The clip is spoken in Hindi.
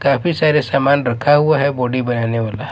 काफी सारे सामान रखा हुआ है बॉडी बनाने वाला--